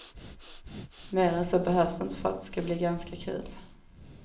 Mer än så behövs inte för att det ska bli ganska kul.